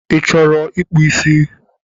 Ị chọrọ ịkpụ ísí?